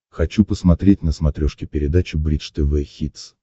хочу посмотреть на смотрешке передачу бридж тв хитс